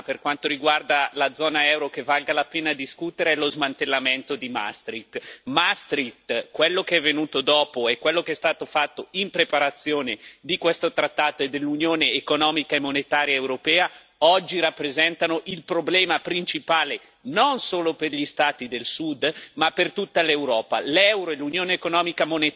Io credo che l'unica riforma, per quanto riguarda la zona euro, che vale la pena discutere sia lo smantellamento di Maastricht. Maastricht, quello che è venuto dopo e quello che è stato fatto in preparazione di questo trattato e dell'Unione economica e monetaria europea, oggi rappresentano il problema principale non solo per gli Stati del Sud ma per tutta l'Europa.